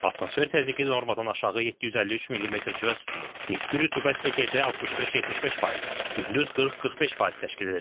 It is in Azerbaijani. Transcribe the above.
Atmosfer təzyiqi normadan aşağı 753 millimetr civə sütunu, nisbi rütubət isə gecə 65-75%, gündüz 40-45% təşkil edəcək.